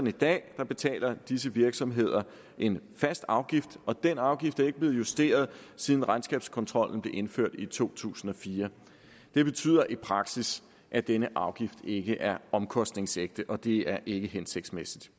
i dag betaler disse virksomheder en fast afgift og den afgift er ikke blev justeret siden regnskabskontrollen blev indført i to tusind og fire det betyder i praksis at denne afgift ikke er omkostningsægte og det er ikke hensigtsmæssigt